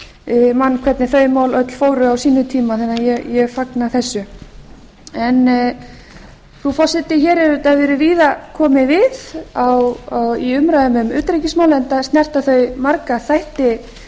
særði mann hvernig þau mál öll fóru á sínum tíma þannig að ég fagna þessu frú forseti hér hefur auðvitað verið víða komið við í umræðum um utanríkismál enda snerta þau marga þætti